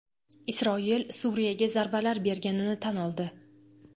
Isroil Suriyaga zarbalar berganini tan oldi.